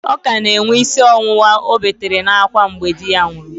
Ọ ka na-enwe ísí ọwụwa ọ betere n'ákwá mgbe di ya nwụrụ